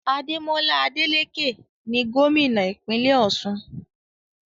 Ademola Adeleke ni gómìnà ìpínlẹ̀ Ọ̀ṣun